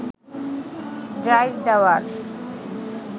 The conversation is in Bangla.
ডাইভ দেওয়ার